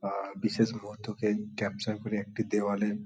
আর বিশেষ বন্ধুকে ক্যাপচার করে একটি দেওয়ালে--